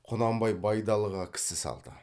құнанбай байдалыға кісі салды